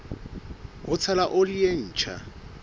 ho tshela oli e ntjha